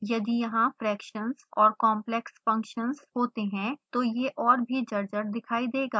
यदि यहाँ fractions और complex फंक्शन्स होते हैं तो यह और भी जर्जर दिखाई देगा